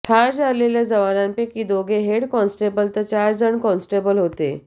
ठार झालेल्या जवानांपैकी दोघे हेड कॉन्स्टेबल तर चारजण कॉन्स्टेबल होते